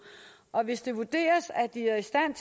og hvis det vurderes at de er i stand